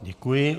Děkuji.